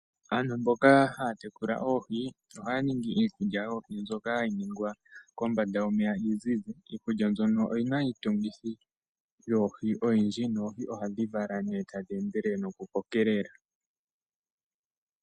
Aantu mboka haya tekula oohi ohaya ningi iikulya yoohi mbyoka gayi ningwa mbyoka hayi ningwa kombanda yomeya iuzizi. Iikulya mbyoka oyina iitungithi oyindji noohi ohadhi vala tadhi endelele.